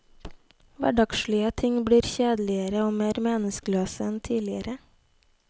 Hverdagslige ting blir kjedeligere og mer meningsløse enn tidligere.